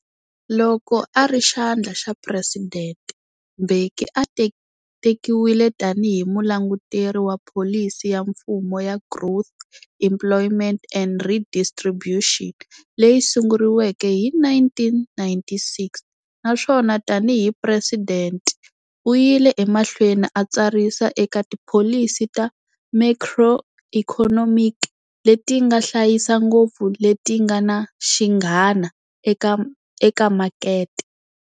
Loko ari xandla xa presidente, Mbeki a tekiwile tani hi mulanguteri wa pholisi ya mfumo ya Growth, Employment and Redistribution, leyi sunguriweke hi 1996, naswona tani hi president uyile emahlweni a tsarisa eka tipholisi ta macroeconomic letinga hlayisa ngopfu, letinga na xinghana eka makete.